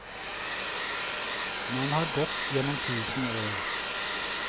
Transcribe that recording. Man har gått gjennom tusen år.